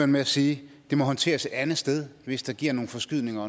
med at sige at det må håndteres et andet sted hvis det giver nogle forskydninger